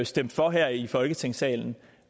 stemt for her i folketingssalen